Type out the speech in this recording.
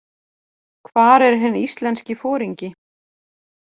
Hvar er hinn íslenski foringi?